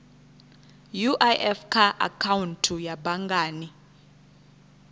uif kha akhaunthu ya banngani